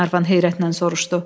Qlenarvan heyrətnən soruşdu.